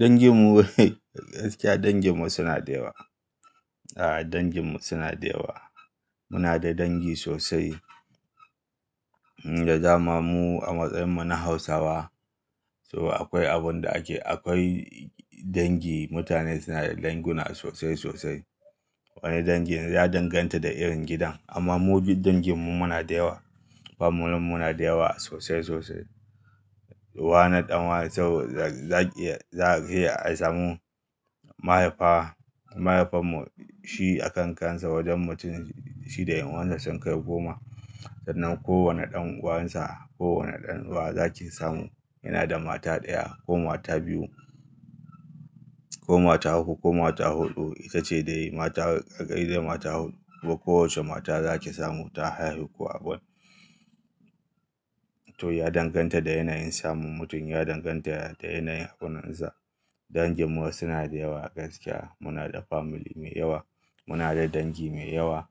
Danginmu, gaskiya danginmu suna da yawa. A'a, danginmu suna da yawa. Muna da dangi sosai. Da zamamu a matsayin mu na Hausawa, so akwai abin da ake, akwai dangi mutane suna da danguna sosai sosai. Wani dangi ya danganta da irin gidan amma mu bi danginmu muna da yawa. Familinmu na da yawa sosai sosai. Wana ɗan wane saboda zaki iya, za ka iya a samu mahaifa, mahaifanmu shi a kan kansa wajen mutum shi da ƴan'uwansa sun kai goma. Sannan kowane ɗan'uwansa, kowane ɗan uwa za ki samu yana da mata ɗaya ko mata biyu ko mata uku ko mata huɗu. Ita ce dai mata, ƙarƙaridai mata huɗu. Kowacce mata za ki samu ta haifi ku abin. To ya danganta da yanayin samun mutum. Ya danganta da yanayin hakunansa. Danginmu suna da yawa gaskiya. Muna da family mai yawa. Muna da dangi mai yawa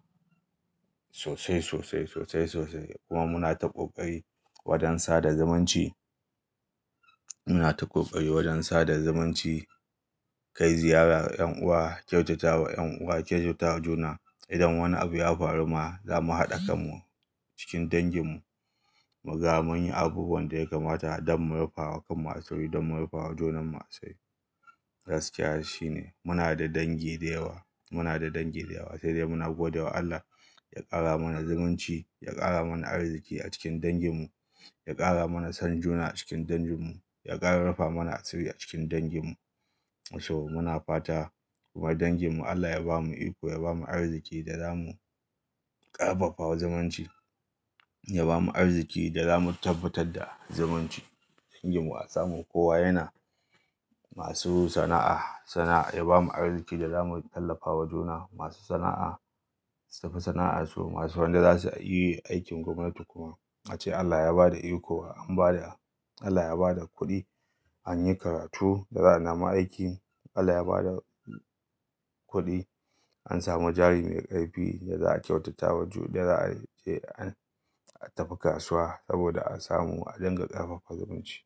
sosai sosai sosai sosai kuma muna ta ƙoƙari wajen sada zumunci. Muna ta ƙoƙari wajen sada zumunci, kai ziyara wa ƴan'uwa, kyautata wa ƴan'uwa, kyautata juna. Idan wani abu ya faru ma zamu haɗa kanmu cikin danginmu. Muga mun yi abubuwan da ya kamata don mu rufa wa kanmu asiri, don mu rufa wa junan mu asiri. Gaskiya shine muna da dangi da yawa. Muna da dangi da yawa sai dai muna gode wa Allah ya ƙara mana zumunci, ya ƙara mana arziki a cikin danginmu, ya ƙara mana son juna a cikin danginmu, ya ƙara rufa mana asiri a cikin danginmu. So muna fata kuma danginmu Allah ya ba mu iko, ya ba mu arziki da zamu ƙarfafa zumunci, ya ba mu arziki da zamu tabbatar da zumunci. Danginmu a samu kowa yana masu sana'a, sana'a ya ba mu arziki da zamu tallafawa juna. Masu sana'a su fi sana'arsu. Masu wanda za su yi aikin gwamnati kuma ace Allah ya ba da iko, an ba da, Allah ya ba da kuɗi an yi karatu da za a nema aiki. Allah ya ba da kuɗi an samu jari mai ƙarfi da za a kyautatawa ju da za a je an a tafi kasuwa saboda a samu a dinga ƙarfafa zumunci.